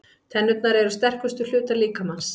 Tennurnar eru sterkustu hlutar líkamans.